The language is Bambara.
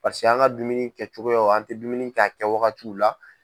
an ka dumuni kɛcogoyaw an tɛ dumuni kɛ a kɛwagatiw la.